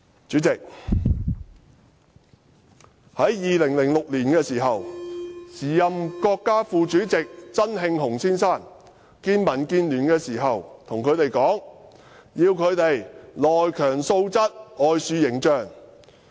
主席，在2006年，時任國家副主席曾慶紅先生會見民建聯時跟他們說，要"內強素質、外樹形象"。